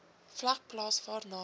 vlak plaas waarna